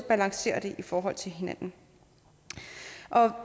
balancerer det i forhold til hinanden